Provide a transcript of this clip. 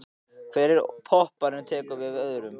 Hver popparinn tekur við af öðrum.